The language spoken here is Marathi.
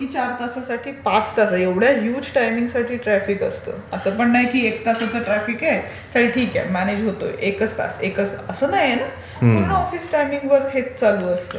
आणि जे की चार तासांसाठी ते पाच तासांसाठी एवढ्या हयुज टायमिंग साठी ट्राफिक असते. असं पण नाही की एक तासाचं ट्राफिक आहे. चल ठीक आहे म्यानेज होतोय एकाच तास. असं नाहीये ना. पूर्ण ऑफिस टायमिंग भर हेच चालू असतं.